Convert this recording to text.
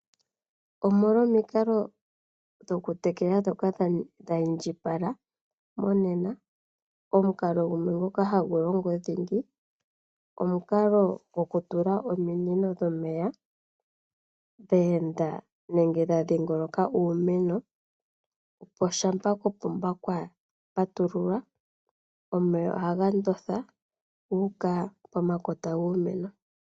Omolwa omikalo dhokutekela ndhoka dhi indjipala mongashingeyi, omukalo gumwe ngoka hagu longo dhingi omukalo gokutula ominino dhomeya dhe enda nenge dha dhingoloka iimeno, opo shampa kopomba kwa patululwa omeya ohaga ndonda gu uka pomakota giimeno.